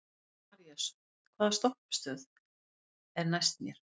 Marías, hvaða stoppistöð er næst mér?